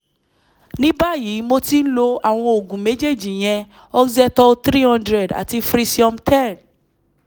ní báyìí mo ti ń lo àwọn oògùn méjèèjì ìyẹn oxetol three hundred àti frisium ten